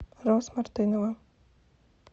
роз мартынова